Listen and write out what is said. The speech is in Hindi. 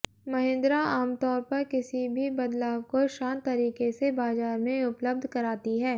महिंद्रा आमतौर पर किसी भी बदलाव को शांत तरीके से बाजार में उपलब्ध कराती है